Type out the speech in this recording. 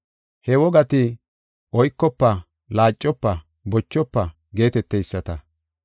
He wogati, “Oykofa; laacofa; bochofa” geeteteysata.